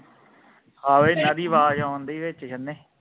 ਹਾਵੇ ਇਹਨਾਂ ਦੀ ਆਵਾਜ਼ ਆਉਣਦੀ ਵਿਚ ਕਿੰਨੀ